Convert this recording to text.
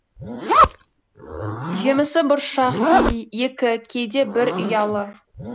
жемісі бұршақ екі кейде бір ұялы